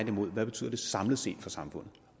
imod hvad betyder det samlet set for samfundet